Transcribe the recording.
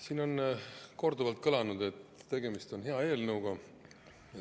Siin on korduvalt kõlanud, et tegemist on hea eelnõuga.